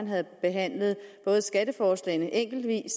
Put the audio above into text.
havde behandlet skatteforslagene enkeltvis